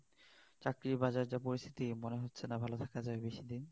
চাকরির বাজারের যে পরিস্থিতি মনে হচ্ছে না ভাল থাকা যাবে বেশি দিন